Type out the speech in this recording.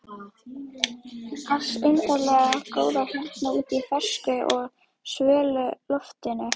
ars undarlega góð hérna úti í fersku og svölu loftinu.